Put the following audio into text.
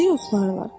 Necə yoxlayırlar?